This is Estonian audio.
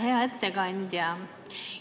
Hea ettekandja!